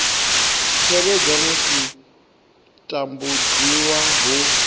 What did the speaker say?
tevhedzwa musi u tambudziwa hu